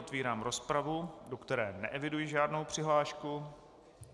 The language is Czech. Otevírám rozpravu, do které neeviduji žádnou přihlášku.